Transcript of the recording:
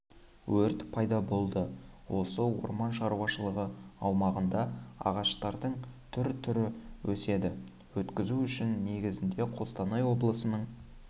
өрт пайда болды осы орман шаруашылығы аумағында ағаштардың түр-түрі өседі өткізу үшін негіздеме қостанай облысының